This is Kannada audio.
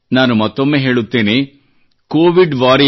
ನಾನು ಮತ್ತೊಮ್ಮೆ ಹೇಳುತ್ತೇನೆ covidwarriors